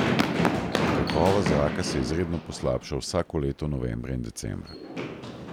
Kakovost zraka se izredno poslabša vsako leto novembra in decembra.